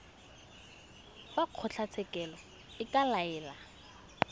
fa kgotlatshekelo e ka laela